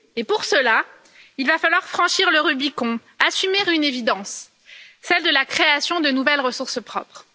Pour cela, il va falloir franchir le Rubicon, assumer une évidence celle de la création de nouvelles ressources propres.